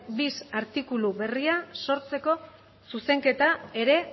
bis artikulu berria sortzeko zuzenketa ere